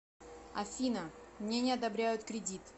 афина мне не одобряют кредит